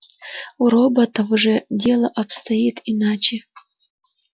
у роботов же дело обстоит иначе